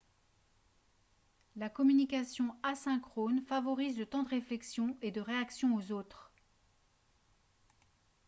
la communication asynchrone favorise le temps de réflexion et de réaction aux autres